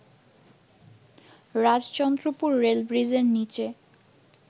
Rajchandrapur rail ব্রিজের নীচে